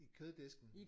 I køddisken